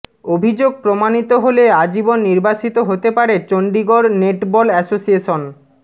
অভিযোগ প্রমাণিত হলে আজীবন নির্বাসিত হতে পারে চণ্ডিগড় নেটবল অ্যাসোসিয়েশন